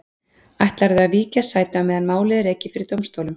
Ætlarðu að víkja sæti á meðan málið er rekið fyrir dómstólum?